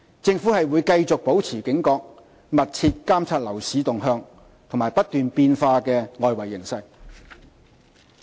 政府會繼續保持警覺，密切監察樓市動向和不斷變化的外圍形勢。